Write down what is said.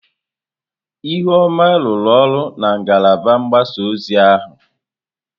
Ihuoma rụrụ ọrụ na ngalaba mgbasa ozi ọha.